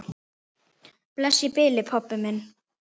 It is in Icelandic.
Bless í bili, pabbi minn.